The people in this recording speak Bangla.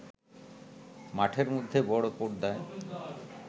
মাঠের মধ্যে বড় পর্দায়